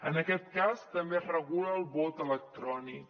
en aquest cas també es regula el vot electrònic